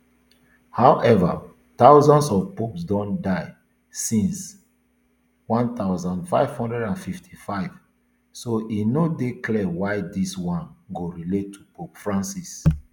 however dozens of popes don die since one thousand, five hundred and fifty-five so e no dey clear why dis one go relate to pope francis